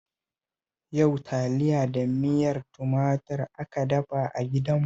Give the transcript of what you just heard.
Yau taliya da miyar tumatur aka dafa a gidanmu